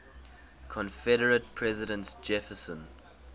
confederate president jefferson